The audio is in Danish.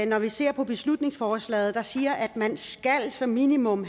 når vi ser på beslutningsforslaget der siger at man som minimum